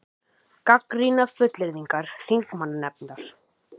Gagnrýna fullyrðingar þingmannanefndar